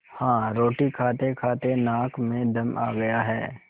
हाँ रोटी खातेखाते नाक में दम आ गया है